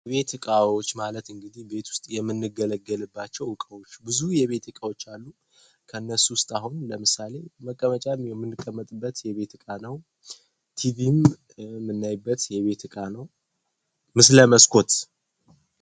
የቤት እቃዎች ማለት እንግዲህ ቤት ውስጥ የምንገልግልባቸው እቃዎች ብዙ የቤት ዕቃዎች አሉ ። ከእነሱ ውስጥ አሁን ለምሳሌ መቀመጫ የምንቀመጥበት የቤት ዕቃ ነው ። ቲቪም የምናይበት የቤት ዕቃ ነው ።